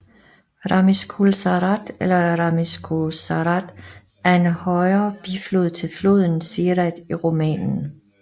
Râmnicul Sărat eller Râmnicu Sărat er en højre biflod til floden Siret i Rumænien